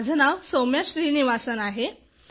माझे नाव सौम्या श्रीनिवासन आहे